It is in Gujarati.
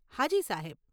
હાજી, સાહેબ.